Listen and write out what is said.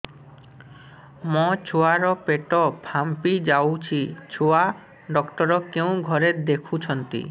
ମୋ ଛୁଆ ର ପେଟ ଫାମ୍ପି ଯାଉଛି ଛୁଆ ଡକ୍ଟର କେଉଁ ଘରେ ଦେଖୁ ଛନ୍ତି